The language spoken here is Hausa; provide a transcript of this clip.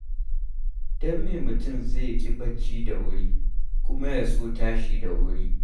Don me mutum zai ƙi barci da wuri, kuma ya so tashi da wuri?